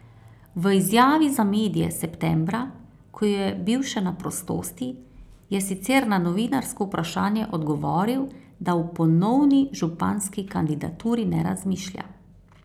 V izjavi za medije septembra, ko je bil še na prostosti, je sicer na novinarsko vprašanje odgovoril, da o ponovni županski kandidaturi ne razmišlja.